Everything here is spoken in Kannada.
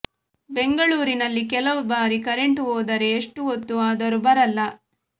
ಬೆಂಗಳೂರಿನಲ್ಲಿ ಕೆಲವು ಬಾರಿ ಕೆರೆಂಟ್ ಹೋದರೆ ಎಷ್ಟು ಹೋತ್ತು ಆದರು ಬರಲ್ಲ